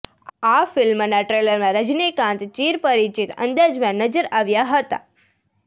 આ ફિલ્મના ટ્રેલરમાં રજનીકાંત ચીર પરિચિત અંદાજમાં નજર આવ્યા હતા